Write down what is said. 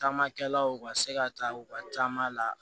Taamakɛlaw ka se ka taa u ka taa la